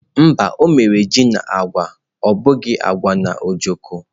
Mba, o mere ji na agwa abụghị agwa na ojokọ́.